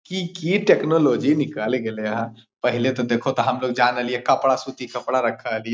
की की टेक्नोलॉजी निकाले गले हेय पहले ते देखो तो हमलोग जान रेहलियो कपड़ा सूती कपड़ा रखा हेलिए।